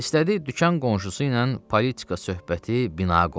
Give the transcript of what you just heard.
İstədi dükan qonşusu ilə politika söhbəti bina qoysun.